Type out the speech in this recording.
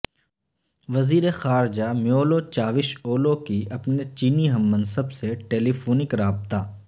وزیر خارجہ Mevlut Cavusoglu کی اپنے چینی ہم منصب سے ٹیلی فونک رابطہ